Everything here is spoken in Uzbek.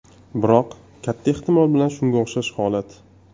Biroq katta ehtimol bilan shunga o‘xshash holat.